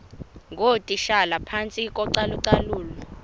ngootitshala phantsi kocalucalulo